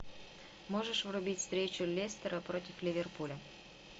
можешь врубить встречу лестера против ливерпуля